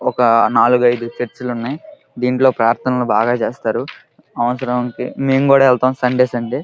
ఒక నాలుగు ఐదు చర్చిలు ఉన్నాయి. దీంట్లో ప్రార్థనలు బాగా చేస్తారు. మేము కూడా వెళ్తాం సండే సండే .